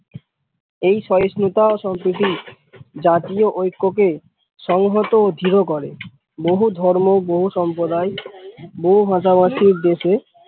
এই সহিস্নুতা ও সাম্প্রতি জাতীয় ঐক্য কে সংহত ও দৃঢ় করে বহু ধর্ম বহু সম্প্র্যদায় বহু ভাষা ভাষী র দেশে